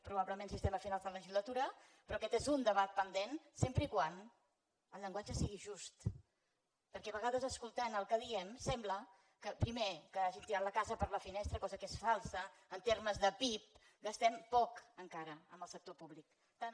probablement si estem a finals de legislatura però aquest és un debat pendent sempre que el llenguatge sigui just perquè a vegades escoltant el que diem sembla que primer hàgim tirat la casa per la finestra cosa que és falsa en termes de pib gastem poc encara en el sector públic tant en